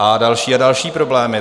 A další a další problémy.